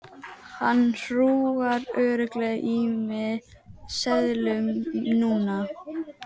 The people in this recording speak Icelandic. Hann hrúgar örugglega í mig seðlum núna.